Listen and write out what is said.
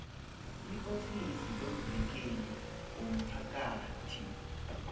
eofisini lomvikeli womphakathi